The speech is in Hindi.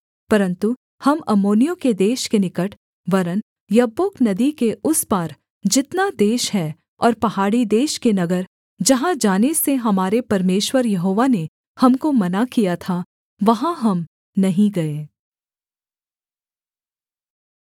परन्तु हम अम्मोनियों के देश के निकट वरन् यब्बोक नदी के उस पार जितना देश है और पहाड़ी देश के नगर जहाँ जाने से हमारे परमेश्वर यहोवा ने हमको मना किया था वहाँ हम नहीं गए